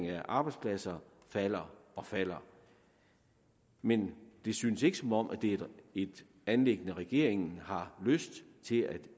af arbejdspladser falder og falder men det synes ikke som om det er et anliggende regeringen har lyst til at